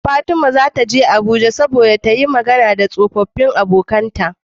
Fatima zata je abuja saboda tayi Magana da tsofafin abokAnan ta